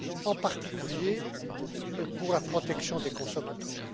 en particulier pour la protection des consommateurs.